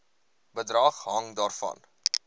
bedrag hang daarvan